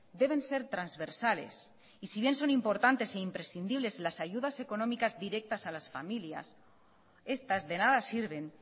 deben ser transversales y si bien son importantes e imprescindibles las ayudas económicas directas a las familias estas de nada sirven